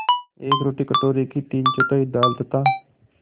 एक रोटी कटोरे की तीनचौथाई दाल तथा